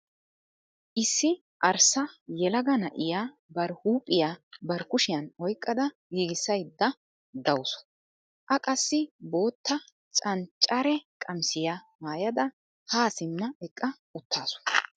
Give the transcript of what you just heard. Issi arssa yelaga na'iya bari huuphiya bari kushiyan oyqqada giigissaydda dawusu. A qassi bootta canccare qamisiya maayada haa simma eqqa uttaasu.